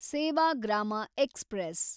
Sevagram express